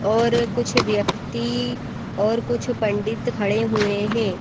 और कुछ व्यक्ति और कुछ पंडित खड़े हुए हैं।